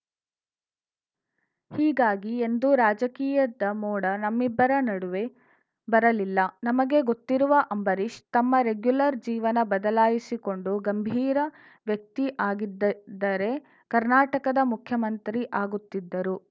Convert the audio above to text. ಹೀಗಾಗಿ ಎಂದೂ ರಾಜಕೀಯದ ಮೋಡ ನಮ್ಮಿಬ್ಬರ ನಡುವೆ ಬರಲಿಲ್ಲ ನಮಗೆ ಗೊತ್ತಿರುವ ಅಂಬರೀಷ್‌ ತಮ್ಮ ರೆಗ್ಯುಲರ್‌ ಜೀವನ ಬದಲಾಯಿಸಿಕೊಂಡು ಗಂಭೀರ ವ್ಯಕ್ತಿ ಆಗಿದ್ದಿದ್ದರೆ ಕರ್ನಾಟಕದ ಮುಖ್ಯಮಂತ್ರಿ ಆಗುತ್ತಿದ್ದರು